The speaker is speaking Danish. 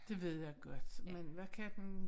Det ved jeg godt men hvad kan den